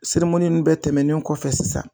nun bɛɛ tɛmɛnen kɔfɛ sisan.